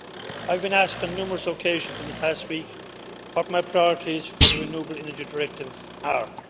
I have been asked on numerous occasions in the past week what my priorities for the Renewable Energy Directive are.